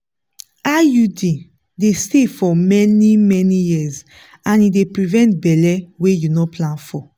iud dey stay for many-many years and e dey prevent belle wey you no plan for.